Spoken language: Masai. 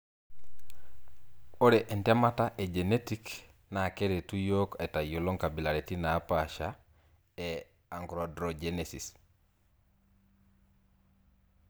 Ore entemata e Genetic na keretu yiok aitayiolo nkabilaritin napasha e achondrogenesis.